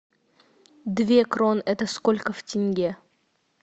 две крон это сколько в тенге